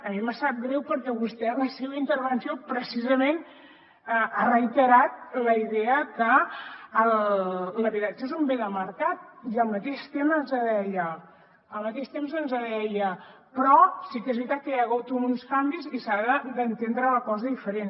a mi em sap greu perquè vostè en la seva intervenció precisament ha reiterat la idea que l’habitatge és un bé de mercat i al mateix temps ens deia però sí que és veritat que hi ha hagut uns canvis i s’ha d’entendre la cosa diferent